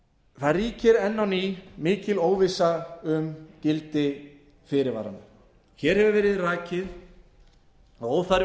það ríkir enn á ný mikil óvissa um gildi fyrirvaranna hér hefur verið rakið og óþarfi